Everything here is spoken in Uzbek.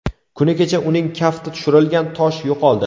Kuni kecha uning kafti tushirilgan tosh yo‘qoldi.